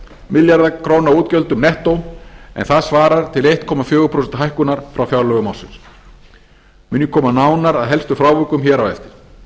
milljarða króna útgjöldum nettó en það svarar til fjögurra komma eitt prósent hækkunar frá fjárlögum ársins mun ég koma nánar að helstu frávikum hér á eftir